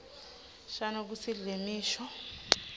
shano kutsi lemisho